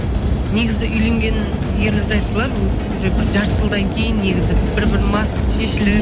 негізі үйленген ерлі зайыптылар ө уже бір жарты жылдан кейін негізі бір бірінің маскасы шешіліп